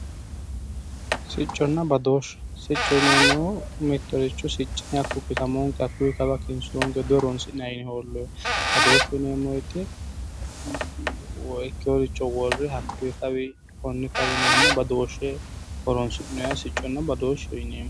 Sicconna badooshshe, sicco yineemmohu mittoricho siccine hakku kisamoonke hakkuyi kawa dihoroonsi'nayi yine hooloyeho. Badooshshu yineemmo woyite woyi ikkeyoricho worre woyi hakkuyi konni kawi yineenna badooshshe horoonsi'noyeha sicconna badooshsheho yineemmo.